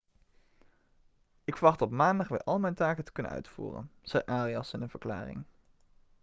ik verwacht op maandag weer al mijn taken te kunnen uitvoeren' zei arias in een verklaring